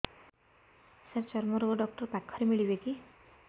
ସାର ଚର୍ମରୋଗ ଡକ୍ଟର ପାଖରେ ମିଳିବେ କି